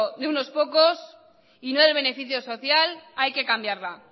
de unos pocos y no de beneficio social hay que cambiarla